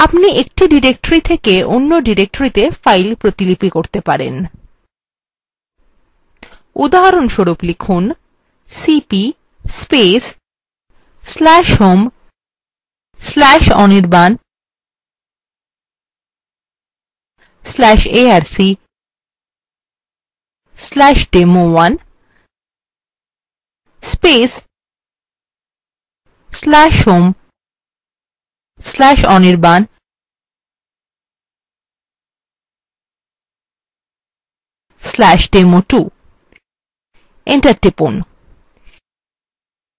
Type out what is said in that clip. আপনি we directories থেকে অন্য ডিরেকটরিত়ে files copy করতে পারেন উদাহরণস্বরূপ লিখুন